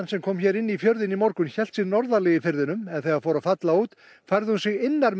sem kom hér inn í fjörðinn í morgun hélt sig norðarlega í firðinum en þegar fór að falla út færði hún sig innar